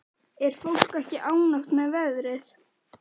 Er fólk ekki ánægt með veðrið?